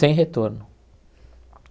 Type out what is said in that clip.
Sem retorno.